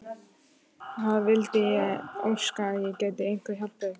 Það vildi ég óska að ég gæti eitthvað hjálpað ykkur!